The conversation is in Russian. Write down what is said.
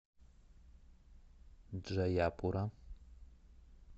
джаяпура